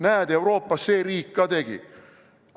Näed, Euroopas see riik ka tegi!